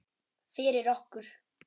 Fyrir okkur.